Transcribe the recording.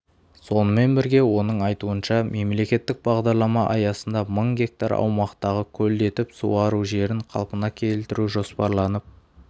сонымен бірге оның айтуынша мемлекеттік бағдарлама аясында мың гектар аумақтағы көлдетіп суару жерін қалпына келтіру жоспарланып